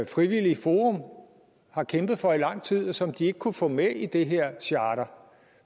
frivilligt forum har kæmpet for i lang tid og som de ikke kunne få med i det her charter